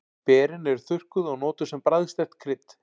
Berin eru þurrkuð og notuð sem bragðsterkt krydd.